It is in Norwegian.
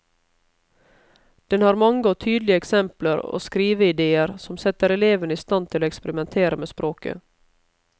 Den har mange og tydelige eksempler og skriveidéer som setter elevene i stand til å eksperimentere med språket.